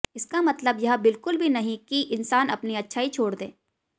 इसका मतलब यह बिल्कुल भी नहीं कि इंसान अपनी अच्छाई छोड़ दे